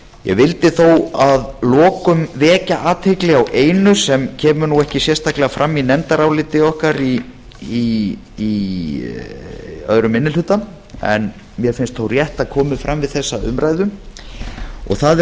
ég vildi þó að lokum vekja athygli á einu sem kemur ekki sérstaklega fram í nefndaráliti okkar í öðrum minni hluta en mér finnst þó rétt að komi fram við þessa umræðu það